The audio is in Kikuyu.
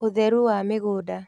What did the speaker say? ũtheru wa mĩgũnda